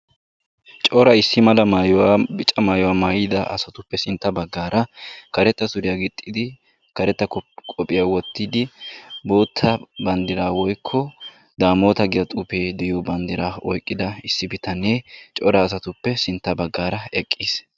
Cora issi mala maayuwa bica maayuwa maayida asatuppe sintta baggaara karetta suriya gixxidi karetta kop qophiya wottidi bootta banddiraa woykko daamota giya xuufee de'iyo banddiraa oyqqida issi bitanee cora asatuppe sintta baggaara eqqiis.